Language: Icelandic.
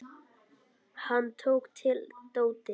Hann tók til dótið.